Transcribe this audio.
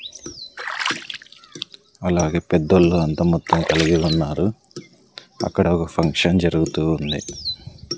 అలాగే పెద్దోళ్ళు అంత మొత్తం కలిగి ఉన్నారు అక్కడ ఒక ఫంక్షన్ జరుగుతూ ఉంది.